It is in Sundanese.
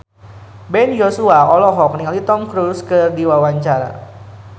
Ben Joshua olohok ningali Tom Cruise keur diwawancara